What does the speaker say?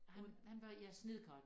Han han var ja snedker